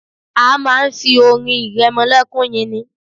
A máa ń fi orin ìrẹmọlẹ́kún yin ni.